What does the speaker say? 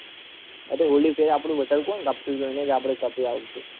ઓલી ફેરે આપડી વધારે કોણ કાપતું હતું એની આપડે કાપીએ આ વખતે